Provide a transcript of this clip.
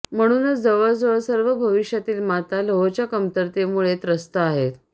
म्हणूनच जवळजवळ सर्व भविष्यातील माता लोहच्या कमतरतेमुळे त्रस्त आहेत